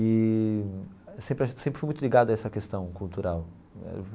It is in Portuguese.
Eee sempre sempre fui muito ligado a essa questão cultural.